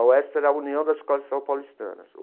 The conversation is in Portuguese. A UESP era a União das Escolas de Samba Paulistanas.